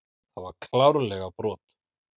Það var klárlega brot.